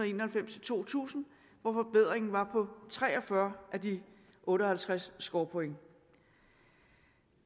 en og halvfems til to tusind hvor forbedringen var på tre og fyrre af de otte og halvtreds scorepoint